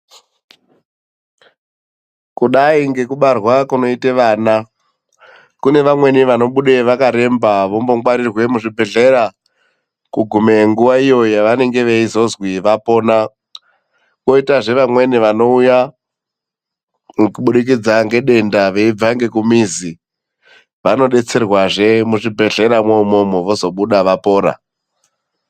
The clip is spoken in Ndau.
Kudai ngekubarwa kunoite vana, kune vamweni vanobuda vakaremba vombongwarirwa muzvibhedhlera, kugume nguva yavanozozwi vapona. Koitazve vamweni vanouya nekubudikidza nedenda veibva nekumizi, vanodetserwazve muzvibhedhlera moumwomwo vozobuda vapora .